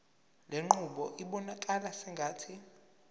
lenqubo ibonakala sengathi